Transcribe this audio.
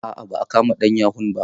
A'a ba'a kama ɗan yahun ba.